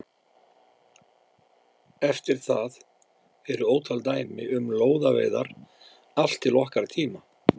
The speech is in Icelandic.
Eftir það eru ótal dæmi um lóðaveiðar allt til okkar tíma.